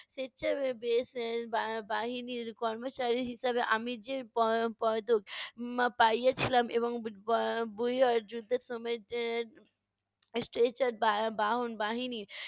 বা~ বাহিনীর কর্মচারী হিসেবে আমি যে প~ পদক পা~ পাইয়াছিলাম বাহন বাহিনী